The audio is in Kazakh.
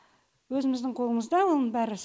өзіміздің қолымызда оның бәрі